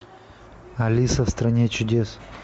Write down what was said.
алиса в стране чудес